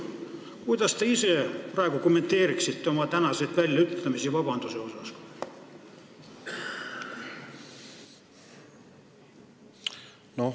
Kuidas te ise praegu kommenteeriksite oma tänaseid vabandamist puudutanud väljaütlemisi?